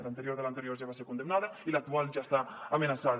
l’anterior de l’anterior ja va ser condemnada i l’actual ja està amenaçada